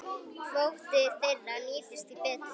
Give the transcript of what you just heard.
Kvóti þeirra nýtist því betur.